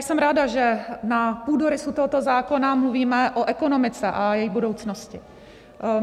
Jsem ráda, že na půdorysu tohoto zákona mluvíme o ekonomice a její budoucnosti.